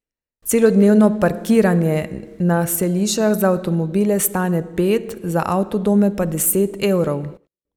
Celodnevno parkiranje na Selišah za avtomobile stane pet, za avtodome pa deset evrov.